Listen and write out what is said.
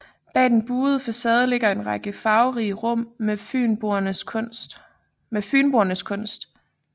Bag den buede facade ligger en række farverige rum med Fynboernes kunst